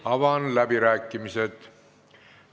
Avan läbirääkimised.